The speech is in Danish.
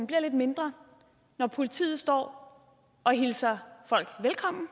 bliver lidt mindre når politiet står og hilser folk velkommen